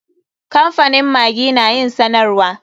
Kamfanin maggi na yin sanarwa.